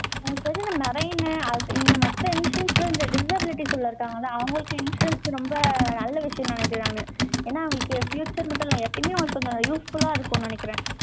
எனக்கு தெரிஞ்சு, இந்த marine அது, இந்த மத்த emissions ல, இந்த disabilities உள்ள, இருக்காங்கல்ல? அவங்களுக்கு, insurance ரொம்ப, நல்ல விஷயம்ன்னு, நினைக்கிறேன், நானு ஏன்னா, அவங்களுக்கு future மட்டும் இல்லை, எப்பவுமே அவங்களுக்கு கொஞ்சம் useful ஆ இருக்கும்னு நினைக்கிறேன்.